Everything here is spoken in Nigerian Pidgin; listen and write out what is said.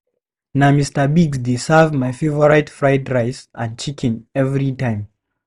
Na Mr. Biggs dey serve my favorite fried rice and chicken every time.